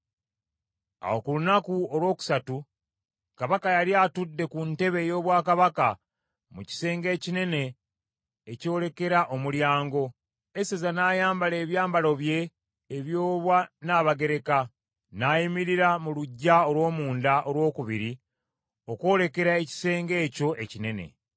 Awo ku lunaku olwokusatu, Kabaka yali atudde ku ntebe ey’obwakabaka mu kisenge ekinene ekyolekera omulyango, Eseza n’ayambala ebyambalo bye ebyobwannabagereka, n’ayimirira mu luggya olw’omunda olwokubiri okwolekera ekisenge ekyo ekinene.